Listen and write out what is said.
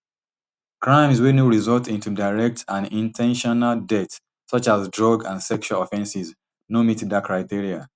crimes wey no result into direct and in ten tional death such as drug and sexual offences no meet dat criteria